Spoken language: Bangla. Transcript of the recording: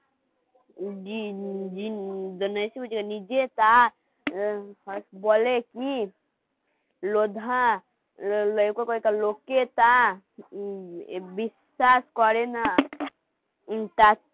নিজে তা বলে কি লোধা লোকে টা বিশ্বাস করে না